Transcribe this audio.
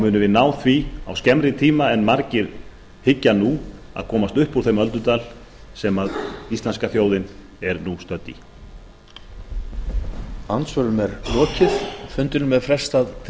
munum við ná því á skemmri tíma en margir hyggja nú að komast upp úr þeim öldudal sem íslenska þjóðin er nú stödd í